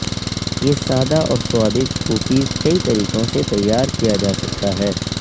یہ سادہ اور سوادج کوکیز کئی طریقوں سے تیار کیا جا سکتا ہے